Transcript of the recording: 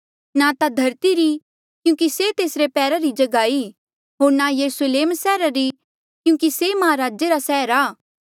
ना ता धरती री क्यूंकि से तेसरे पैरा री जगहा ई होर ना यरुस्लेम सैहरा री क्यूंकि से महाराजा रा सैहर आ